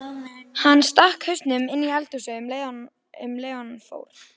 Hann stakk hausnum inní eldhúsið um leið og hann fór.